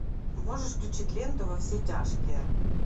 можешь включить ленту во все тяжкие